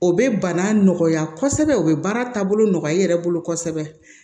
O bɛ bana nɔgɔya kosɛbɛ o bɛ baara taabolo nɔgɔ i yɛrɛ bolo kosɛbɛ